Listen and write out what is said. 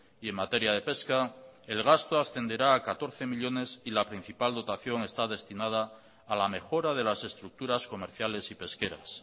y en materia de pesca el gasto ascenderá a catorce millónes y la principal dotación está destinada a la mejora de las estructuras comerciales y pesqueras